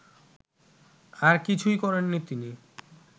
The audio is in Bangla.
আর কিছুই করেননি তিনি